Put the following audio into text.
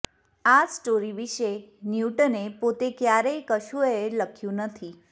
આ સ્ટોરી વિષે ન્યુટને પોતે ક્યારેય કશુંય લખ્યું નથી